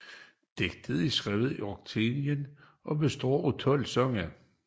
Digtet er skrevet i oktaverim og består af 12 sange